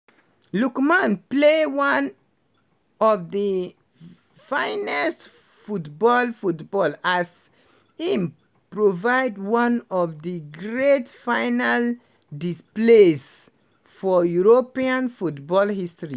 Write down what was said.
lookman play one of di finest football football as im provide one of di great final displays for european football history.